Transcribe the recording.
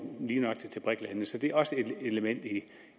til netop brik landene så det er også et element i